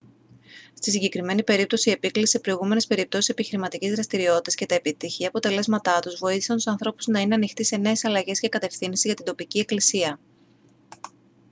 στη συγκεκριμένη περίπτωση η επίκληση σε προηγούμενες περιπτώσεις επιχειρηματικής δραστηριότητας και τα επιτυχή αποτελέσματά τους βοήθησαν τους ανθρώπους να είναι ανοιχτοί σε νέες αλλαγές και κατευθύνσεις για την τοπική εκκλησία